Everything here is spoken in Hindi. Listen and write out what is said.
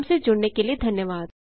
हमसे जुड़ने के लिए धन्यवाद